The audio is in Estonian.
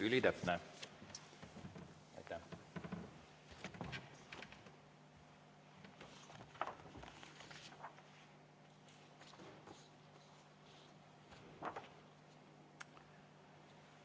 Ülitäpne, aitäh!